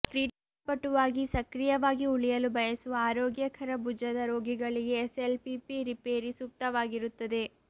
ಕ್ರೀಡಾಪಟುವಾಗಿ ಸಕ್ರಿಯವಾಗಿ ಉಳಿಯಲು ಬಯಸುವ ಆರೋಗ್ಯಕರ ಭುಜದ ರೋಗಿಗಳಿಗೆ ಎಸ್ಎಲ್ಪಿಪಿ ರಿಪೇರಿ ಸೂಕ್ತವಾಗಿರುತ್ತದೆ